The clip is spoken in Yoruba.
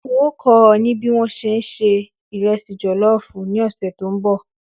N óò kó̩ o̩ ní bí wọ́n ṣe ń se ìre̩sì jò̩ló̩ò̩fù ní òsè̩ tó ń bò̩